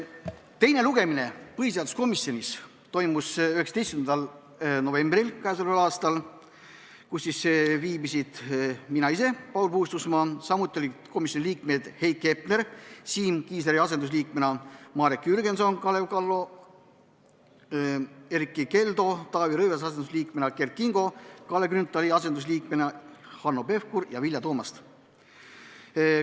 Teine lugemine põhiseaduskomisjonis toimus 19. novembril k.a. Kohal viibisid: mina ise ehk Paul Puustusmaa, samuti komisjoni liikmed Heiki Hepner Siim Kiisleri asendusliikmena, Marek Jürgenson, Kalev Kallo, Erkki Keldo Taavi Rõivase asendusliikmena, Kert Kingo Kalle Grünthali asendusliikmena, Hanno Pevkur ja Vilja Toomast.